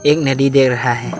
एक नदी दे रहा है।